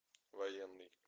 военный